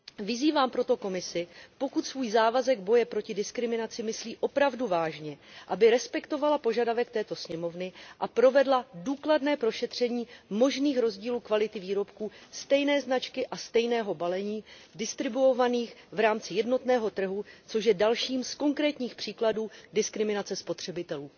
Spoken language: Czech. Vyzývám proto Komisi, pokud svůj závazek boje proti diskriminaci myslí opravdu vážně, aby respektovala požadavek této sněmovny a provedla důkladné prošetření možných rozdílů kvality výrobků stejné značky a stejného balení distribuovaných v rámci jednotného trhu, což je dalším z konkrétních příkladů diskriminace spotřebitelů.